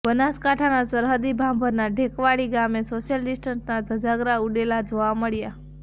બનાસકાંઠાના સરહદી ભાભરના ઢેકવાડી ગામે સોશિયલ ડિસ્ટનના ધજાગરા ઉડેલા જોવા મળ્યા